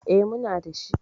E, muna da shi.